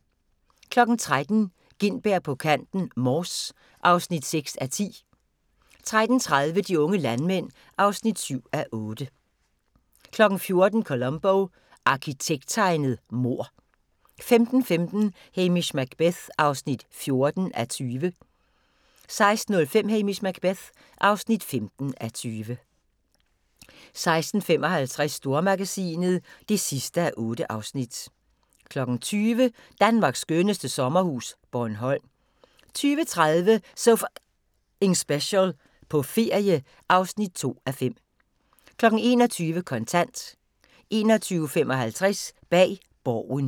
13:00: Gintberg på kanten – Mors (6:10) 13:30: De unge landmænd (7:8) 14:00: Columbo: Arkitekttegnet mord 15:15: Hamish Macbeth (14:20) 16:05: Hamish Macbeth (15:20) 16:55: Stormagasinet (8:8) 20:00: Danmarks skønneste sommerhus – Bornholm 20:30: So F***ing Special – på ferie (2:5) 21:00: Kontant 21:55: Bag Borgen